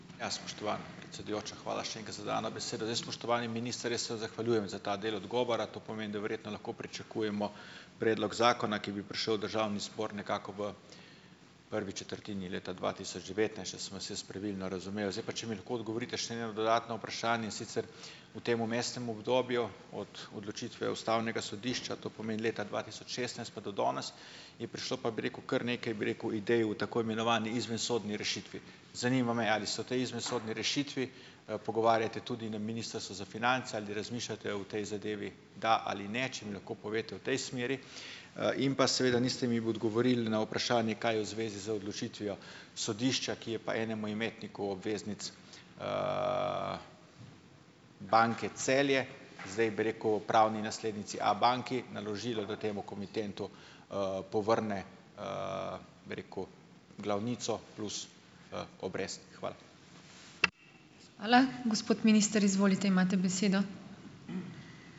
Ja, spoštovana predsedujoča, hvala še enkrat za dano besedo. Jaz, spoštovani minister, jaz se zahvaljujem za ta del odgovora. To pomeni, da verjetno lahko pričakujemo predlog zakona, ki bi prišel v državni zbor nekako v prvi četrtini leta dva tisoč devetnajst, če sem vas jaz pravilno razumel. Zdaj pa, če mi lahko odgovorite še na eno dodatno vprašanje, in sicer, v tem vmesnem obdobju od odločitve ustavnega sodišča, to pomeni leta dva tisoč šestnajst, pa do danes je prišlo pa, bi rekel, kar nekaj, bi rekel, idej v tako imenovani izvensodni rešitvi. Zanima me: Ali so te izvensodni rešitvi, pogovarjate tudi na ministrstvu za finance? Ali razmišljate o tej zadevi, da ali ne. Če mi lahko poveste v tej smeri. In pa, seveda niste mi odgovorili na vprašanje, kaj je v zvezi z odločitvijo sodišča, ki je pa enemu imetniku obveznic Banke Celje, zdaj bi rekel pravni naslednici Abanki, naložilo, da temu komitentu, povrne, bi rekel, glavnico plus, obresti. Hvala.